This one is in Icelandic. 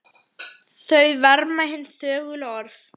Þau verma hin þögulu orð.